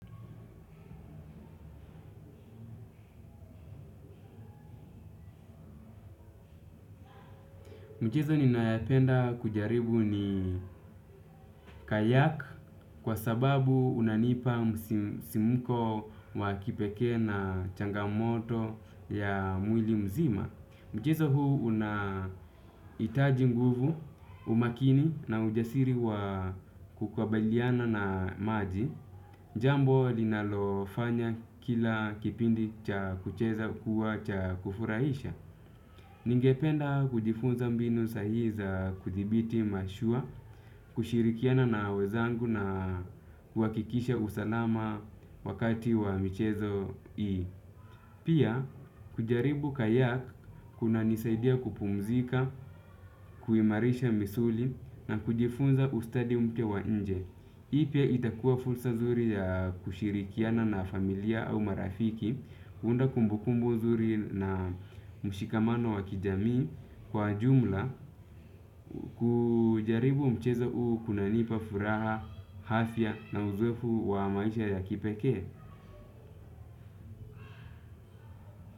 Michezo ninayapenda kucheza ni kayak kwa sababu unanipa msisimko wa kipekee na changamoto ya mwili mzima. Mchezo huu unahitaji nguvu, umakini na ujasiri wa kukabiliana na maji. Jambo linalofanya kila kipindi cha kucheza kuwa cha kufurahisha. Ningependa kujifunza mbinu sahihi za kudhibiti mashua, kushirikiana na wenzangu na kuhakikisha usalama wakati wa michezo hii. Pia, kujaribu kayak kunanisaidia kupumzika, kuimarisha misuli na kujifunza ustadi mpya wa nje. Hii pia itakuwa fursa nzuri ya kushirikiana na familia au marafiki, kuunda kumbukumbu nzuri na mshikamano wa kijamii, kwa jumla. Kujaribu mchezo huu kunanipa furaha, afya na uzoefu wa maisha ya kipekee.